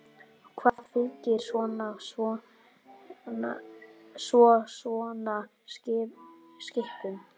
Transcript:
Hvað fylgir svo svona skipum?